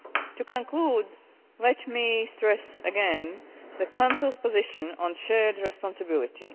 To conclude, let me stress again the Council's position on shared responsibility.